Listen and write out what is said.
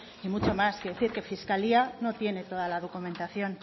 y mucho más quiero decir que fiscalía no tiene toda la documentación